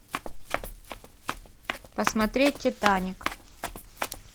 посмотреть титаник